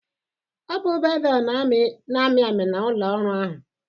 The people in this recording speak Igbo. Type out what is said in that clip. ọ bụ bevel na-amị amị na ụlọ ọrụ ahụ?